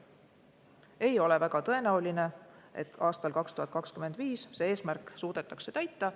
Ei ole väga tõenäoline, et aastal 2025 see eesmärk suudetakse täita.